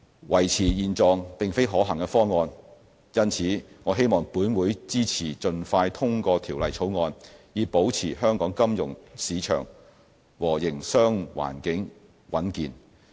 維持現狀並非可行方案，因此我希望立法會支持盡快通過《條例草案》，以保持香港金融市場和營商環境穩健。